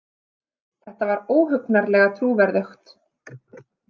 Þetta var óhugnanlega trúverðugt.